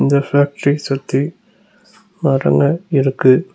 இந்த ஃபேக்டரி சுத்தி மரங்க இருக்கு.